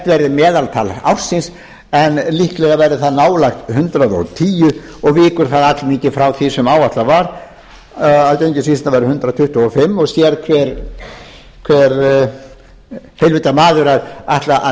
verði meðatal ársins en líklega verður það nálægt hundrað og tíu og víkur það allmikið frá því sem áætlað var að gengisvísitalan yrði hundrað tuttugu og fimm og sér hver heilvita maður að ætla að